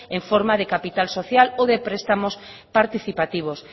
en forma de capital social o de prestamos participativos